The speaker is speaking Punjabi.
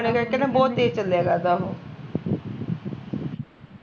ਕਰਕੇ ਨਾ ਬਹੁਤ ਤੇਜ਼ ਚੱਲਿਆ ਕਰਦਾ ਉਹ